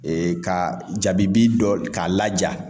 Ee ka jabibi dɔ k'a laja